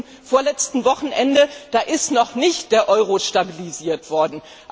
Am vorletzten Wochenende ist noch nicht der Euro stabilisiert worden.